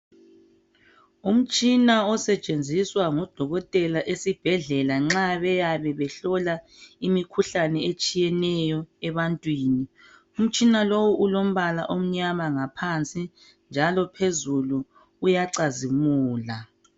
Umtshina osetshenziswa ngodokotela esibhedlela nxa beyabe behlola imikhuhlane etshiyeneyo ebantwini. Umtshina lo ulombala omnyama ngaphansi, njalo phezulu uyacazimula.